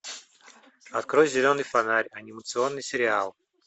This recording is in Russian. открой зеленый фонарь анимационный сериал